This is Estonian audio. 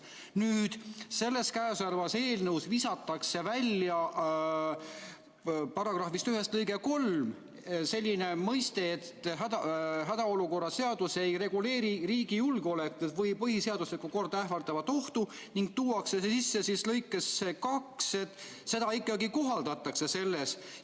Nüüd selles käesolevas eelnõus visatakse välja § 1 lõikest 3 selline mõiste, et hädaolukorra seadus ei reguleeri riigi julgeolekut või põhiseaduslikku korda ähvardavat ohtu, ning tuuakse see sisse lõikesse 2, et seda ikkagi kohaldatakse selles.